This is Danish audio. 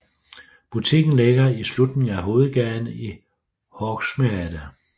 Butikken ligger i slutningen af hovedgaden i Hogsmeade